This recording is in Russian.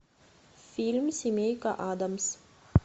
фильм семейка аддамс